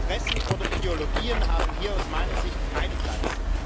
Interessen oder Ideologien haben hier aus meiner Sicht keinen Platz.